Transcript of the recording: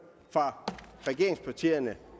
fra regeringspartierne